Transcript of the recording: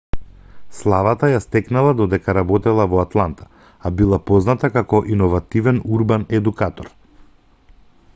славата ја стекнала додека работела во атланта а била позната како иновативен урбан едукатор